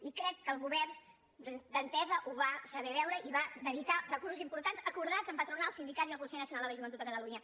i crec que el govern d’entesa ho va saber veure i va dedicar recursos importants acordats amb patronals sindicats i el consell nacional de la joventut de catalunya